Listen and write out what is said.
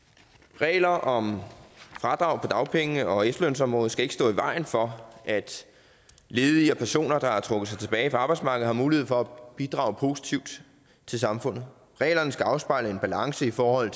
regler om fradrag på dagpenge og efterlønsområdet skal ikke stå i vejen for at ledige og personer der har trukket sig tilbage fra arbejdsmarkedet har mulighed for at bidrage positivt til samfundet reglerne skal afspejle en balance i forhold